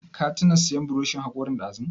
Ka tuna sayan buroshin haƙorin dazu?